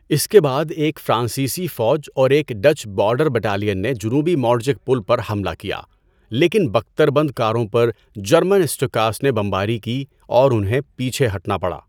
اس کے بعد ایک فرانسیسی فوج اور ایک اور ڈچ بارڈر بٹالین نے جنوبی مورڈجک پل پر حملہ کیا لیکن بکتر بند کاروں پر جرمن اسٹوکاس نے بمباری کی اور انہیں پیچھے ہٹنا پڑا۔